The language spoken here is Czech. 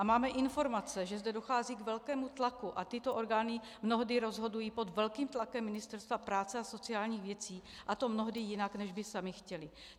A máme informace, že zde dochází k velkému tlaku a tyto orgány mnohdy rozhodují pod velkým tlakem Ministerstva práce a sociálních věcí, a to mnohdy jinak, než by samy chtěly.